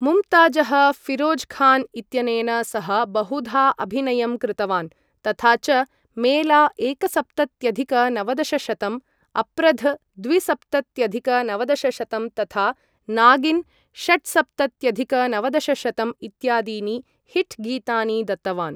मुमताजः फिरोजखान इत्यनेन सह बहुधा अभिनयं कृतवान् तथा च मेला एकसप्तत्यधिक नवदशशतं , अप्रध् द्विसप्तत्यधिक नवदशशतं तथा नागिन् षट्सप्तत्यधिक नवदशशतं इत्यादीनि हिट् गीतानि दत्तवान् ।